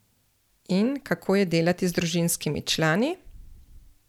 In kako je delati z družinskimi člani?